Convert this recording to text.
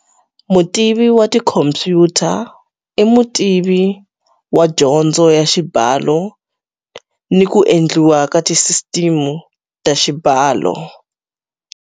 Mutivi wa tikhompyuta i mutivi wa dyondzo ya xibalo ni ku endliwa ka tisisiteme ta xibalo.